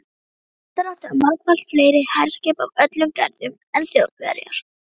Bretar áttu margfalt fleiri herskip af öllum gerðum en Þjóðverjar.